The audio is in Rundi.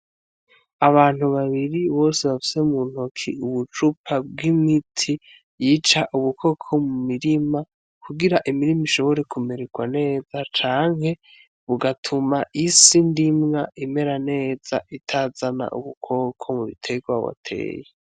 Abantu babiri bose bafise mu ntoke ubucupa bw'imiti yica ubukoko mu mirima kugira imirima ishobore kumererwa neza canke bugatuma isi ndimwa imera neza, itazana ubukoko mu biterwa wateye.